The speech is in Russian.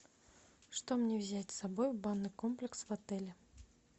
что мне взять с собой в банный комплекс в отеле